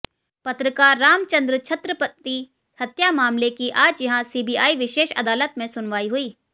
पत्रकार रामचंद्र छत्रपति हत्या मामले की आज यहां सीबीआई विशेष अदालत में सुनवाई हुई